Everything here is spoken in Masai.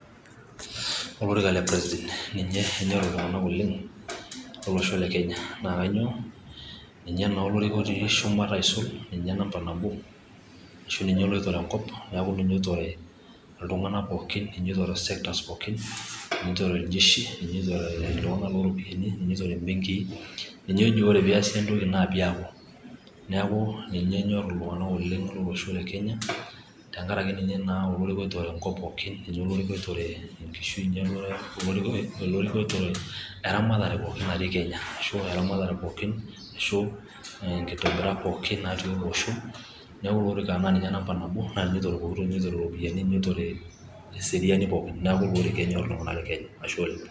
olorika le president ninye enyorr iltung`anak oleng lolosho le kenya naa kanyio, ninye naa olorika otii shumata aisul ninye namba nabo ashu ninye loitore enkop neeku ninye oitore iltung`anak pooki ninye oitore sectors pooki, ninye oitore iljeshi, ninye oitore iltung`anak looropiani, ninye oitore imbenkii ninye ojo ore peesi entoki naa peeku, neeku ninye enyorr iltung`anak oleng lolosho le kenya tenkaraki ninye naa olorika oitore enkop pooki ninye olorika oitore eramatare pooki ashu nkitobirat naati ele osho neeku naa ilo orika nampa nabo naa ninye oitore pooki toki ninye oitore ropiyiani ninye oitore eseriani pooki neeku ilo orika enyorr iltung`anak le kenya, ashe oleng.